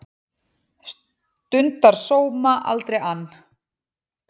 Stundar sóma, aldrei ann